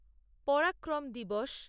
পরাক্রম দিবস